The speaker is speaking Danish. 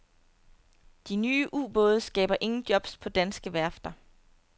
De nye ubåde skaber ingen jobs på danske værfter.